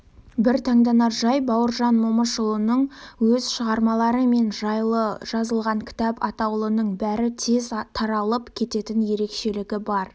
бір таңданар жай-бауыржанның өз шығармалары мен ол жайлы жазылған кітап атаулының бәрі де тез таралып кететін ерекшелігі бар